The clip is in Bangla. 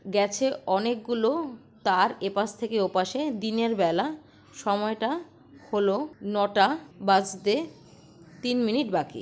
গেছে অনেকগুলো-ও তার এপাশ থেকে ওপাশে দিনের বেলা সময়টা হল নটা বাজতে তিন মিনিট বাকি।